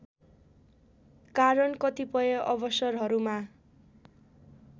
कारण कतिपय अवसरहरूमा